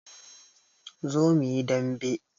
Zo muyi dambe